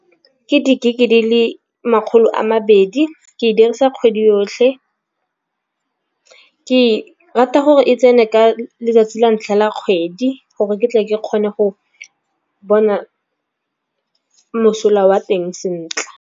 Ke di-gig di le makgolo a mabedi ke e dirisa kgwedi yotlhe. Ke rata gore e tsene ka letsatsi la ntlha la kgwedi gore ke tle ke kgone go bona mosola wa teng sentle.